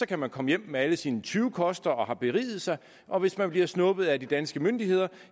kan man komme hjem med alle sine tyvekoster og har beriget sig og hvis man bliver snuppet af de danske myndigheder